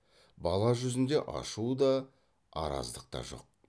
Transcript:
бала жүзінде ашу да араздық та жоқ